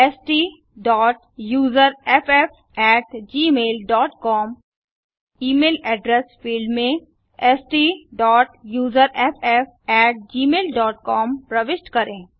STUSERFFgmailcom email address field में STUSERFFgmailcom प्रविष्ट करें